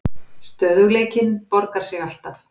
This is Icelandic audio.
Stöðugleikinn borgar sig alltaf